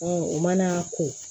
o mana ko